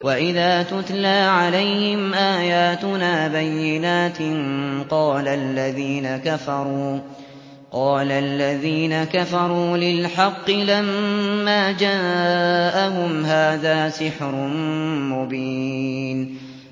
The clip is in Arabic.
وَإِذَا تُتْلَىٰ عَلَيْهِمْ آيَاتُنَا بَيِّنَاتٍ قَالَ الَّذِينَ كَفَرُوا لِلْحَقِّ لَمَّا جَاءَهُمْ هَٰذَا سِحْرٌ مُّبِينٌ